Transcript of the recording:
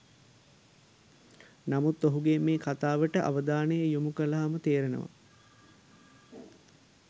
නමුත් ඔහුගේ මේ කතාවට අවධානය යොමු කලහම තේරෙනවා